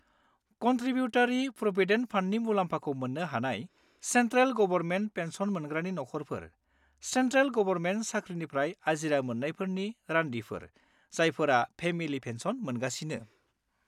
Contributory provident फान्डनि मुलाम्फाखौ मोन्नो हानाय सेन्ट्रेल गबरमेन्ट पेन्सन मोनग्रानि नखरफोरः सेन्ट्रेल गबरमेन्ट साख्रिनिफ्राय आजिरा मोन्नायफोरनि रान्दिफोर जायफोरा फेमिलि पेन्सन मोनगासिनो।